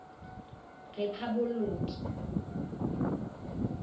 rephaboloki